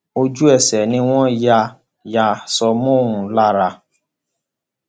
ojú ẹsẹ ni wọn ya ya aṣọ mọ ọn lára